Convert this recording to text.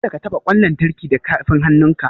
Kada ka taɓa ƙwan lantarki da tafin hannunka!